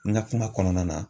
N ka kuma kɔnɔna na.